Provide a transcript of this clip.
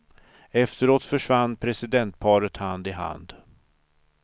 Efteråt försvann presidentparet hand i hand.